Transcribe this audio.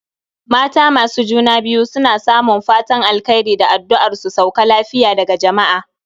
Mata masu juna biyu suna samun fatan alkhairi da adduar su sauka lafiya daga jamaa